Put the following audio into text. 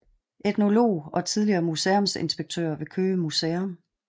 Etnolog og tidligere museumsinspektør ved Køge Museum